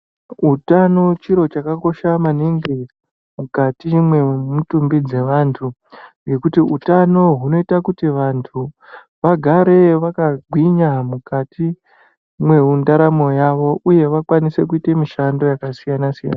Utano chiro chakakosha maningi mukati mwemutumbi dzeantu ngekuti utano unoita kuti vantu vagare vakagwinya mukati mwendaramo yawo uye kuti vakwanise kuita mishando yakasiyana siyana .